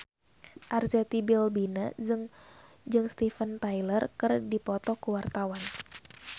Arzetti Bilbina jeung Steven Tyler keur dipoto ku wartawan